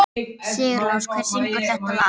Sigurlás, hver syngur þetta lag?